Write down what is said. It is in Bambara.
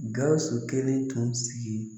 Gawusu kelen tun sigi